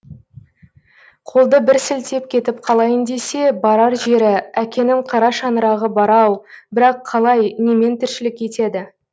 қолды бір сілтеп кетіп қалайын десе барар жері әкенің қара шаңырағы бар ау бірақ қалай немен тіршілік етеді